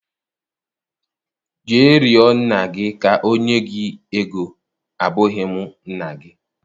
Jee rịo nna gị ka o nye gị ego, abụghị m nna gi.